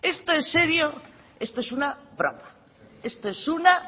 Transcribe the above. esto es serio esto es una broma esto es una